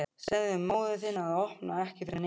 Segðu móður þinni að opna ekki fyrir neinum.